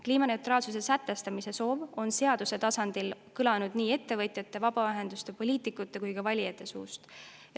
Kliimaneutraalsuse sätestamise soov on seaduse tasandil kõlanud nii ettevõtjate, vabaühenduste, poliitikute kui ka valijate suust.